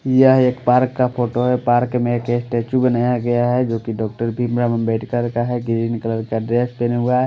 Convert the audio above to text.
यह एक पार्क का फोटो है पार्क में के स्टैचू बनाया गया है जो कि डॉक्टर भीमराव अम्बेडकर का है ग्रीन कलर का ड्रेस पहने हुआ है।